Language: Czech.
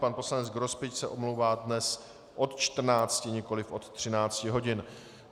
Pan poslanec Grospič se omlouvá dnes od 14, nikoliv od 13 hodin.